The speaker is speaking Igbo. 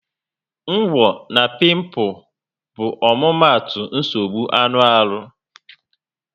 Ngwo na piimpu bụ omumatu nsogbu anụ arụ